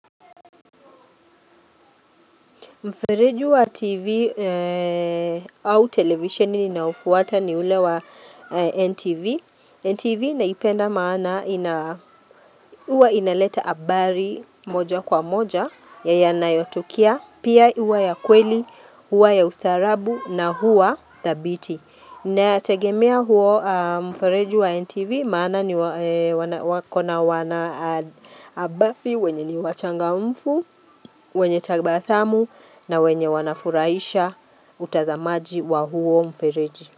Mfereju wa TV au televisioni na ufuwata ni ule wa NTV. NTV naipenda maana huwa inaleta abari moja kwa moja ya yana yotukia. Pia huwa ya kweli, huwa ya ustarabu na huwa thabiti. Na tegemea huo mfereji wa NTV maana ni wakona wana abafi wenye ni wachanga umfu, wenye tagba asamu na wenye wanafuraisha utazamaji wa huo mfereji.